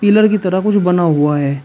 Pillar की तरह कुछ बना हुआ है।